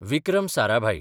Vikram Sarabhai